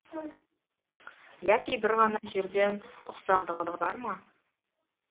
яки бір ғана жерден ұқсағандығы бар ма